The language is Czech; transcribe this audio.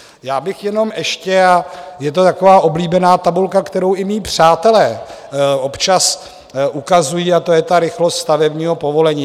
Já bych jenom ještě - a je to taková oblíbená tabulka, kterou i mí přátelé občas ukazují, a to je ta rychlost stavebního povolení.